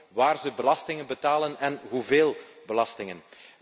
Maar ook waar zij belasting betalen en hoeveel belastingen.